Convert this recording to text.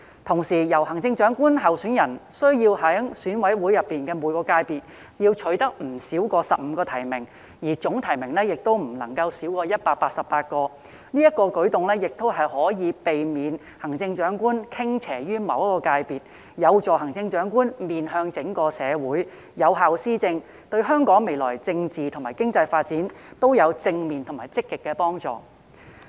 同時，行政長官候選人須在選委會每個界別中取得不少於15個提名，總提名亦不能少於188個，此舉可避免行政長官傾斜於某一個界別，有助行政長官面向整個社會，有效施政，對香港未來政治和經濟發展均有正面及積極的幫助。